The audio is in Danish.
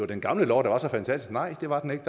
den gamle lov var så fantastisk nej det var den ikke